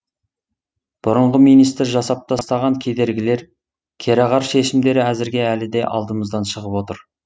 бұрынғы министр жасап тастаған кедергілер кереғар шешімдері әзірге әлі де алдымыздан шығып отыр